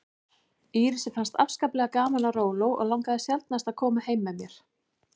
Írisi fannst afskaplega gaman á róló og langaði sjaldnast að koma með mér heim.